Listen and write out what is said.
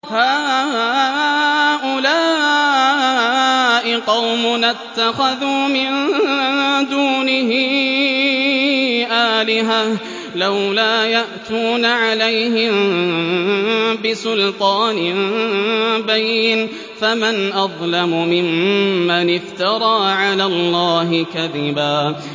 هَٰؤُلَاءِ قَوْمُنَا اتَّخَذُوا مِن دُونِهِ آلِهَةً ۖ لَّوْلَا يَأْتُونَ عَلَيْهِم بِسُلْطَانٍ بَيِّنٍ ۖ فَمَنْ أَظْلَمُ مِمَّنِ افْتَرَىٰ عَلَى اللَّهِ كَذِبًا